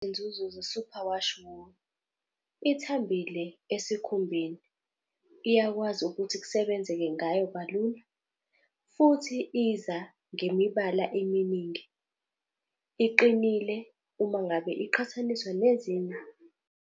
Izinzuzo ze-superwash wool. Ithambile esikhumbeni. Iyakwazi ukuthi kusebenzeke ngayo kalula. Futhi iza ngemibala eminingi. Iqinile uma ngabe iqhathaniswa nezinye.